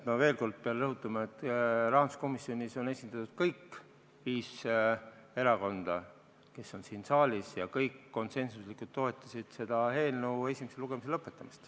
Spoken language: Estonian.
Ma veel kord pean rõhutama, et rahanduskomisjonis on esindatud kõik viis erakonda, kes on siin saalis, ja kõik konsensuslikult toetasid selle eelnõu esimese lugemise lõpetamist.